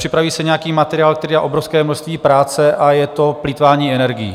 Připraví se nějaký materiál, který dá obrovské množství práce, a je to plýtvání energií.